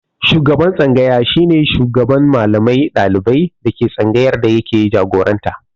Shugaban tsangaya shi ne shugaban Mallamai da ɗaliban da ke tsangayar da yake jagoranta.